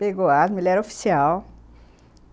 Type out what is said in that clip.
Pegou asma, ele era oficial.